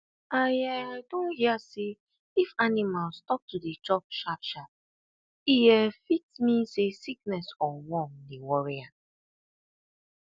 i um don hear say if animal stop to dey chop sharp sharp e um fit mean say sickness or worm dey worry am